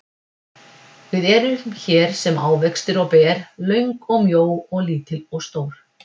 Við erum hér sem ávextir og ber, löng og mjó og lítil stór.